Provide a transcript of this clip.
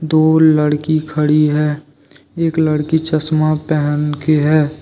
दूवरी लड़की खड़ी है। एक लड़की चश्मा पहन के है।